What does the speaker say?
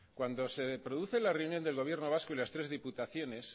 cuando se produce la reunión del gobierno vasco y las tres diputaciones